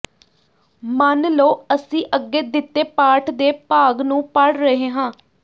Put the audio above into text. ਮੰਨ ਲਓ ਅਸੀਂ ਅੱਗੇ ਦਿੱਤੇ ਪਾਠ ਦੇ ਭਾਗ ਨੂੰ ਪੜ੍ਹ ਰਹੇ ਹਾਂ